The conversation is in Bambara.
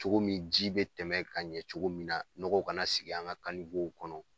Cogo min ji bɛ tɛmɛ ka ɲɛ cogo min na nɔgɔ kana sigi an ka kanw kɔnɔ